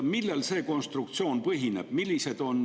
Millel see konstruktsioon põhineb?